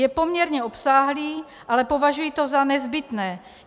Je poměrně obsáhlý, ale považuji to za nezbytné.